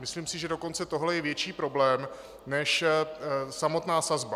Myslím si, že dokonce tohle je větší problém než samotná sazba.